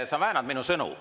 Sa väänad minu sõnu.